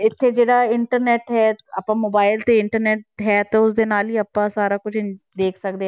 ਇੱਥੇ ਜਿਹੜਾ internet ਹੈ ਆਪਾਂ mobile ਤੇ internet ਹੈ ਤਾਂ ਉਸਦੇ ਨਾਲ ਹੀ ਆਪਾਂ ਸਾਰਾ ਕੁਛ ਦੇਖ ਸਕਦੇ ਹਾਂ।